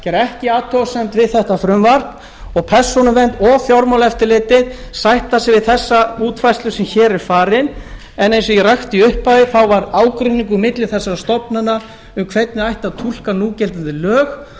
gera ekki athugasemd við þetta frumvarp og persónuvernd og fjármálaeftirlitið sætta sig við þessa útfærslu sem hér er valin en eins og ég rakti í upphafi var ágreiningur milli þessara stofnana um hvernig ætti að túlka núgildandi lög